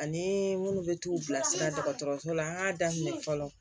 Ani minnu bɛ t'u bilasira dɔgɔtɔrɔso la an k'a daminɛ fɔlɔ